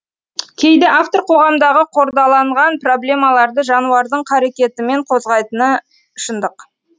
кейде автор қоғамдағы қордаланған проблемаларды жануардың қарекетімен қозғайтыны шындық